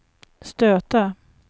stöta